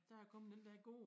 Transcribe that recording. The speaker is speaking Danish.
Der er kommet den dér gode